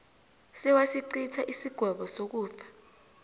sewasicitha isigwebo sokufa